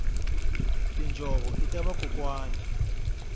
tinjhovo ita vakokwani